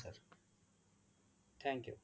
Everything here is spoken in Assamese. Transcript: thank you